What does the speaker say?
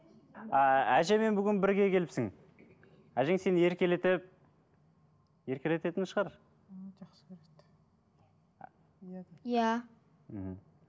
ыыы әжемен бүгін бірге келіпсің әжең сені еркелетіп еркелететін шығар иә мхм